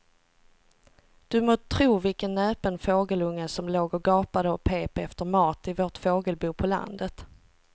Du må tro vilken näpen fågelunge som låg och gapade och pep efter mat i vårt fågelbo på landet.